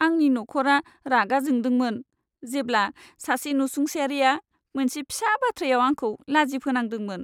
आंनि नखरा रागा जोंदोंमोन, जेब्ला सासे नसुंसेयारिआ मोनसे फिसा बाथ्रायाव आंखौ लाजि फोनांदोंमोन।